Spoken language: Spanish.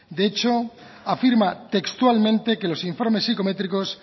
de hecho afirma textualmente que los informes psicométricos